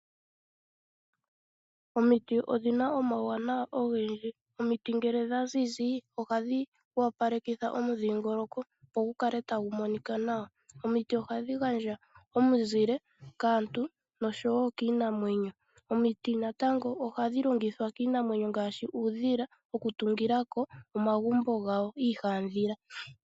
Omiti odhina omawuwanawa ogendji. Omiti ngele dhaziza ohadhi opalekitha omudhingoloko, opo gu kale tagu monika nawa. Omiti ohadhi gandja omizile kaantu noshowo kiinamwenyo. Omiti natango ohadhi longithwa kiinamwenyo ngaashi uudhila okutungilako omagumbo gawo iihandhila.